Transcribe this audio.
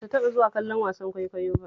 Ban taɓa zuwa kallon wasan kwaikwayo ba